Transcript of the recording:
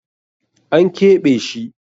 An keɓe shi.